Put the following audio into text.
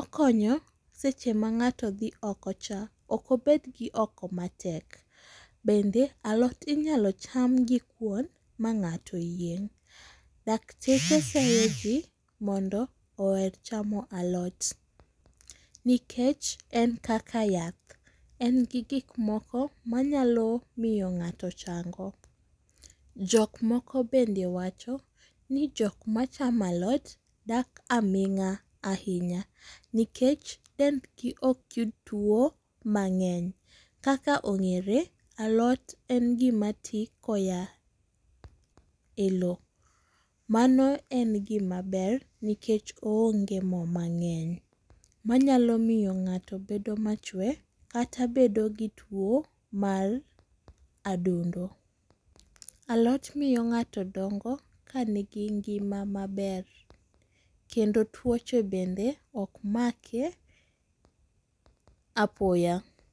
okonyo seche ma ng'ato dhi okocha, ok obed gi oko matek, bende alot inyalo cham gi kuon ma ng'ato yieng'. Dakteche seyo ji mondo oher chamo alot nikech en kaka yath, en gi gik moko manyalo miyo ng'ato chango. Jok moko bende wacho ni jok machamo alot dak aming'a ahinya, nikech dendgi ok yud tuwo mang'eny kaka ong'ere alot en gima ti koya e lowo mano en gimaber nikech oonge mo mang'eny, manyalo miyo ng'ato bedo machwe kata bedo gi tuwo mar adundo. Aalot miyo ng'ato dongo ka nigi ngima maber kendo tuoche bende ok make apoya.